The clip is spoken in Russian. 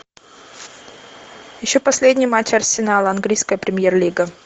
ищу последний матч арсенала английская премьер лига